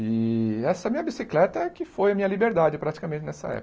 E essa minha bicicleta que foi a minha liberdade praticamente nessa época.